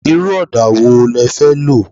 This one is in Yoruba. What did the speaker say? Irú ọdà wo le fẹ́ lo?